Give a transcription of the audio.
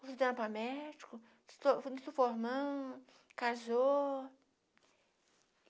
estudando para médico, formando, casou.